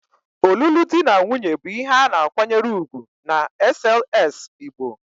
Olulu di na nwunye bu ihe ana akwanyere ugwu n'sls Igbo.